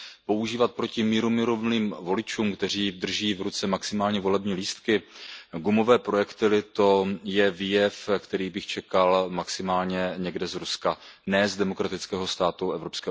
Používat proti mírumilovným voličům, kteří drží v ruce maximálně volební lístky, gumové projektily, to je výjev, který bych čekal maximálně někde z Ruska, ne z demokratického státu EU.